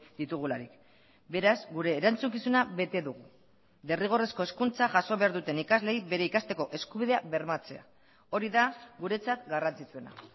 ditugularik beraz gure erantzukizuna bete dugu derrigorrezko hezkuntza jaso behar duten ikasleei bere ikasteko eskubidea bermatzea hori da guretzat garrantzitsuena